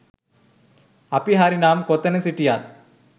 අපි හරි නම් කොතැන සිටියත්